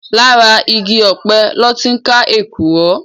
Làrá igi òpè lòtí n ká ékúrò